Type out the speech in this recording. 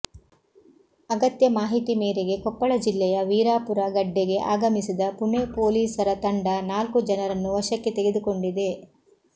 ಅಗತ್ಯ ಮಾಹಿತಿ ಮೇರೆಗೆ ಕೊಪ್ಪಳ ಜಿಲ್ಲೆಯ ವೀರಾಪುರ ಗಡ್ಡೆಗೆ ಆಗಮಿಸಿದ ಪುಣೆ ಪೊಲೀಸರ ತಂಡ ನಾಲ್ಕು ಜನರನ್ನು ವಶಕ್ಕೆ ತೆಗೆದುಕೊಂಡಿದೆ